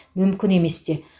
мүмкін емес те